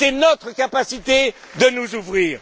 C'est notre incapacité de nous ouvrir.